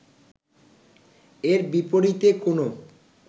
এর বিপরীতে কোনো